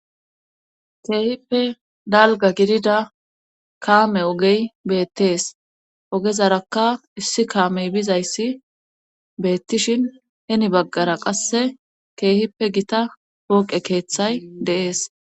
keehippe dalga gidida kaame ogey beettees ogezaraka issi kaamey bizayssi beettishin heni baggara qasse keehippe gita pooqe keeththay de'ees